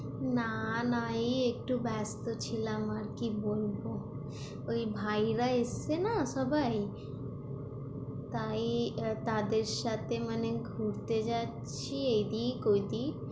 না না এই একটু ব্যাস্ত ছিলাম আর কি বলব, ওই ভাইয়েরা এসছে না সবাই তাই তাদের সাথে মানে ঘুরতে যাচ্ছি এদিক ওদিক